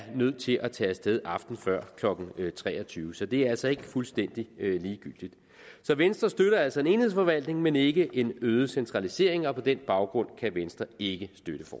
er nødt til at tage af sted aftenen før klokken tre og tyve så det er altså ikke fuldstændig ligegyldigt venstre støtter altså en enhedsforvaltning men ikke en øget centralisering og på den baggrund kan venstre ikke